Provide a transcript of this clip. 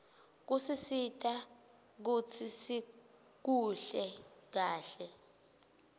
kusisita kutsi sikuhle kahle